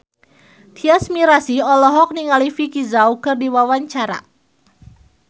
Tyas Mirasih olohok ningali Vicki Zao keur diwawancara